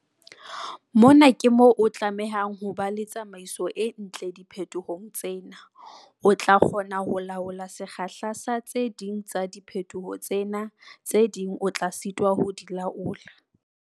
Mona ke moo o tlamehang ho ba le tsamaiso e ntle diphetohong tsena. O tla kgona ho laola sekgahla sa tse ding tsa diphetoho tsena. Tse ding o tla sitwa ho di laola.